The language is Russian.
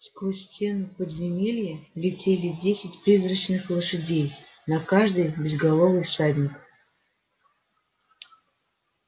сквозь стену подземелье летели десять призрачных лошадей на каждой безголовый всадник